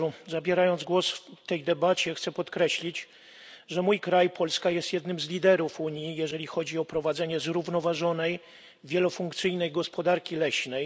Zabierając głos w tej debacie, chcę podkreślić, że mój kraj, Polska, jest jednym z liderów Unii, jeżeli chodzi o prowadzenie zrównoważonej, wielofunkcyjnej gospodarki leśnej.